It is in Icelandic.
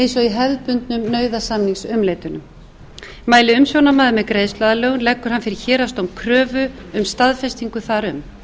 eins og í hefðbundnum nauðasamningsumleitunum mæli umsjónarmaður með greiðsluaðlögun leggur hann fyrir héraðsdóm kröfu um staðfestingu þar um